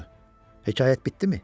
Hekayət bitdimi?